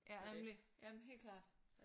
Ja nemlig jamen helt klart